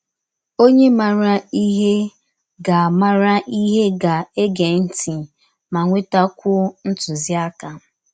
Ọnye maara ihe ga maara ihe ga - ege ntị ma nwetakwụọ ntụziaka. ”